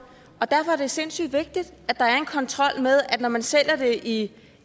og derfor er det sindssygt vigtigt at der er en kontrol med at når man sælger det i